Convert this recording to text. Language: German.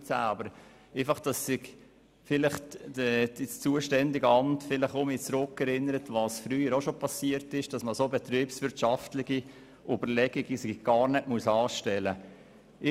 Vielleicht könnte sich das zuständige Amt an das zurückerinnern, was früher schon geschah, und dass man solche betriebswirtschaftlichen Überlegungen gar nicht anstellen muss.